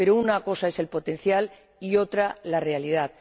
Pero una cosa es el potencial y otra la realidad.